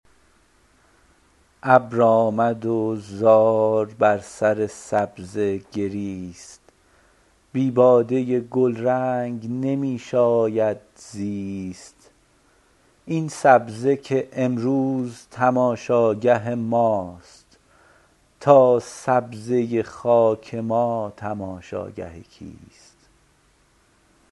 ابر آمد و زار بر سر سبزه گریست بی باده گلرنگ نمی شاید زیست این سبزه که امروز تماشاگه ماست تا سبزه خاک ما تماشاگه کیست